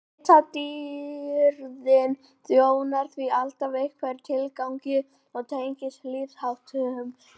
litadýrðin þjónar því alltaf einhverjum tilgangi og tengist lífsháttum dýrsins